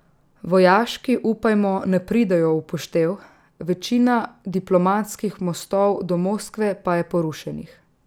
Vojaški, upajmo, ne pridejo v poštev, večina diplomatskih mostov do Moskve pa je porušenih.